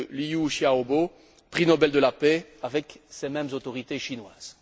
Liu Xiaobo, prix Nobel de la paix, avec ces mêmes autorités chinoises.